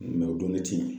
o donni ti yen